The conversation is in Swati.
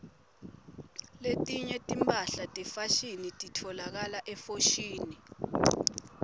letinye timphahla tefashini titfolakala efoshini